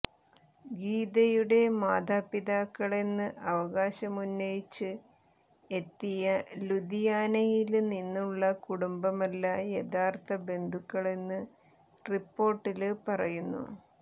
ഗീതയുടെ മാതാപിതാക്കളെന്ന് അവകാശമുന്നയിച്ച് എത്തിയ ലുധിയാനയില് നിന്നുള്ള കുടുംബമല്ല യഥാര്ത്ഥ ബന്ധുക്കളെന്ന് റിപ്പോര്ട്ടില് പറയുന്നു